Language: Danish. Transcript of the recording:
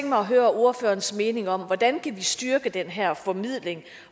mig at høre ordførerens mening om hvordan vi kan styrke den her formidling